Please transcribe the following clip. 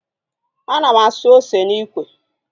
Ana m asụ ose n'ikwe